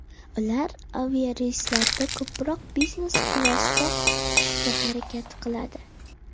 Ular aviareyslarda ko‘proq biznes-klassda uchishga harakat qiladi.